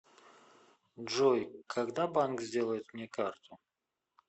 джой когда банк сделает мне карту